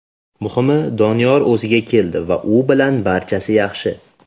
Muhimi, Doniyor o‘ziga keldi va u bilan barchasi yaxshi.